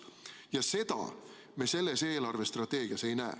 Ja seda me selles eelarvestrateegias ei näe.